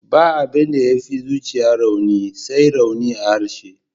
Ba abin da ya fi zuciya rauni, sai rauni a harshe.